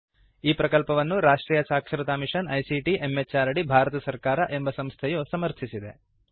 ಈ ಪ್ರಕಲ್ಪವನ್ನು ರಾಷ್ಟ್ರಿಯ ಸಾಕ್ಷರತಾ ಮಿಶನ್ ಐಸಿಟಿ ಎಂಎಚಆರ್ಡಿ ಭಾರತ ಸರ್ಕಾರ ಎಂಬ ಸಂಸ್ಥೆಯು ಸಮರ್ಥಿಸಿದೆ